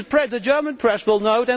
The German press will know.